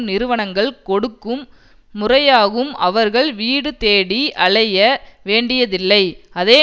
நிறுவனங்கள் கொடுக்கும் முறையாகும் அவர்கள் வீடு தேடி அலைய வேண்டியதில்லை அதே